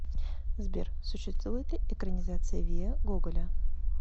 сбер существует ли экранизация вия гоголя